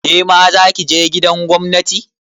Kema zaki je gidan gwamnati?